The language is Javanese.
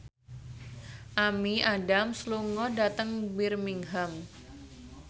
Amy Adams lunga dhateng Birmingham